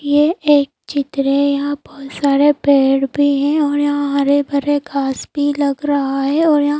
ये एक चित्र है यहाँ बहुत सारे पेड़ भी हैं और यहाँ हरे भरे घास भी लग रहा है और यहाँ --